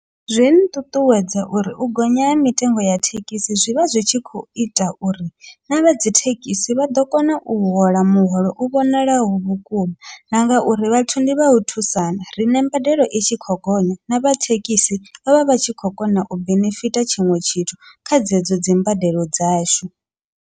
Zwi nṱuṱuwedza uri u gonya ha mitengo ya thekhisi, zwivha zwi tshi khou ita uri navha dzithekhisi vha ḓo kona u hola muholo u vhonalaho vhukuma, na ngauri vhathu ndi vha u thusana riṋe mbadelo i tshi khou gonya navha thekhisi vha vha vha tshi khou kona u benefitha tshiṅwe tshithu kha dzedzo dzimbadelo dzashu.